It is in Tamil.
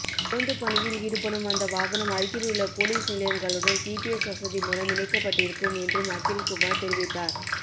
ரோந்து பணியில் ஈடுபடும்அந்த வாகனம் அருகிலுள்ள போலீஸ் நிலையங்களுடன் ஜிபிஎஸ் வசதி மூலம் இணைக்கப்பட்டிருக்கும் என்றும் அகில் குமார் தெரிவித்தார்